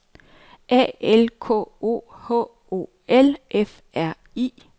A L K O H O L F R I